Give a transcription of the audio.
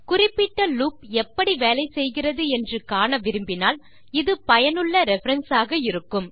குறிப்பிட்ட லூப் எப்படி வேலை செய்கிறது என்று காண விரும்பினால் இது பயனுள்ள ரெஃபரன்ஸ் ஆக இருக்கும்